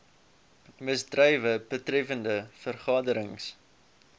misdrywe betreffende vergaderings